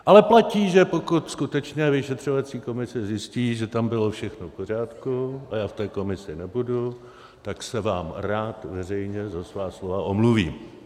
Ale platí, že pokud skutečně vyšetřovací komise zjistí, že tam bylo všechno v pořádku - a já v té komisi nebudu - tak se vám rád veřejně za svá slova omluvím.